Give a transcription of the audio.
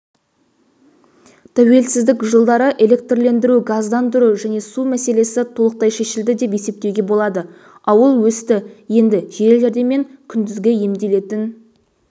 тәуелсіздік жылдары электрлендіру газдандыру және су мәселесі толықтай шешілді деп есептеуге болады ауыл өсті енді жедел-жәрдем мен күндізгі емделетін орындарды көбейту